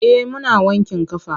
Eh muna wankin ƙafa.